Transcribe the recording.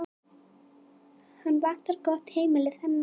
Hann vantar gott heimili, þennan.